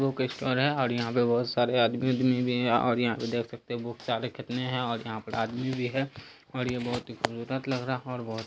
Book store है और यहाँ पे बहुत सारे आदमी-उदमी भी है। और यहाँ पे देख सकते हैं बहुत सारे कितने हैं और यहाँ पे आदमी भी है और ये बहुत ही लग रहा है और बहुत--